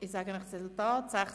Ich sage Ihnen das Resultat: